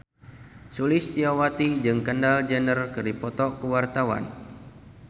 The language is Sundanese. Sulistyowati jeung Kendall Jenner keur dipoto ku wartawan